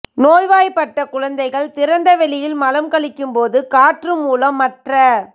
நோய்வாய்ப்பட்ட குழந்தைகள் திறந்தவெளியில் மலம் கழிக்கும்போது காற்று மூலம் மற்ற